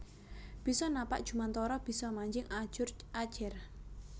Bisa napak jumantara bisa manjing ajur ajer